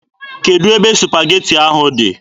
Kedụ ebe supageti ahụ dị?